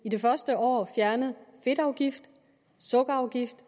i det første år fjernet fedtafgift og sukkerafgift